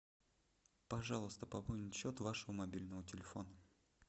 пожалуйста пополнить счет вашего мобильного телефона